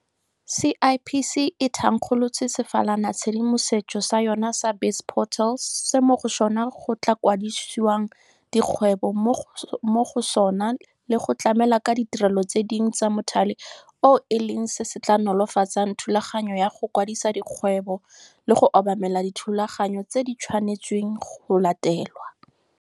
CIPC e thankgolotse sefalanatshedimosetso sa yona sa BizPortal se mo go sona go tla kwadisiwang dikgwebo mo go sona le go tlamela ka ditirelo tse dingwe tsa mothale oo e leng se se tla nolofatsang thulaganyo ya go kwadisa dikgwebo le go obamela dithulaganyo tse di tshwanetsweng go latelwa.